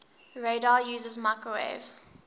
radar uses microwave